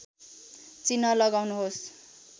चिह्न लगाउनुहोस्